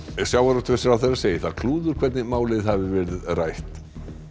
sjávarútvegsráðherra segir það klúður hvernig málið hafi verið rætt